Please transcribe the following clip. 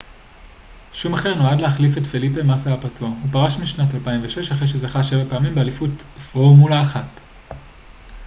שומאכר נועד להחליף את פליפה מאסה הפצוע הוא פרש בשנת 2006 אחרי שזכה שבע פעמים באליפות פורמולה 1